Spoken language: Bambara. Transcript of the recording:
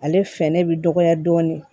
Ale fɛrɛ bɛ dɔgɔya dɔɔnin